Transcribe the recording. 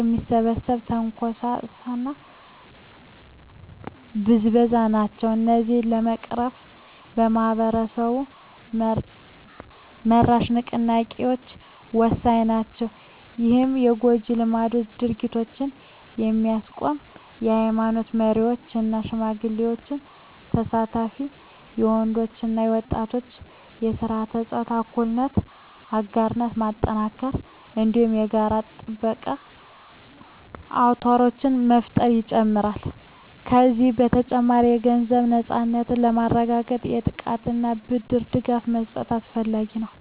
የሚከሰት ትንኮሳና ብዝበዛ ናቸው። እነዚህን ለመቅረፍ ማኅበረሰብ-መራሽ ንቅናቄዎች ወሳኝ ናቸው። ይህም የጎጂ ልማዳዊ ድርጊቶችን የሚያስቆም የኃይማኖት መሪዎች እና ሽማግሌዎች ተሳትፎን፣ የወንዶች እና ወጣቶች በሥርዓተ-ፆታ እኩልነት አጋርነት ማጠናከርን፣ እንዲሁም የጋራ ጥበቃ አውታሮችን መፍጠርን ይጨምራል። ከዚህ በተጨማሪ፣ የገንዘብ ነፃነትን ለማረጋገጥ የጥቃቅን ብድር ድጋፍ መስጠት አስፈላጊ ነው።